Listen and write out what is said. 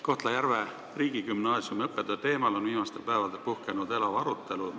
Kohtla-Järve riigigümnaasiumi õppetöö teemal on viimastel päevadel puhkenud elav arutelu.